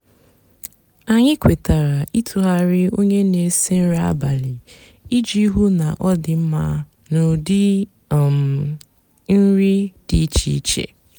ányị kwetara ịtụgharị ónyé nà-èsi nri abálị íjì hú ná ọ dị mmá nà údị um nri dị íchéíché.